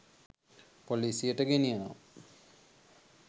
පොලිසියට ගෙනියනවා.